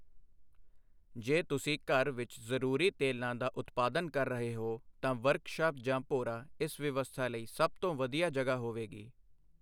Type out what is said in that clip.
ਜੇ ਤੁਸੀਂ ਘਰ ਵਿੱਚ ਜ਼ਰੂਰੀ ਤੇਲਾਂ ਦਾ ਉਤਪਾਦਨ ਕਰ ਰਹੇ ਹੋ, ਤਾਂ ਵਰਕਸ਼ਾਪ ਜਾਂ ਭੋਰਾ ਇਸ ਵਿਵਸਥਾ ਲਈ ਸਭ ਤੋਂ ਵਧੀਆ ਜਗ੍ਹਾ ਹੋਵੇਗੀ।